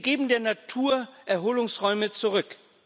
Sie geben der Natur Erholungsräume zurück.